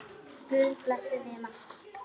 Guð blessi þig, Maggi.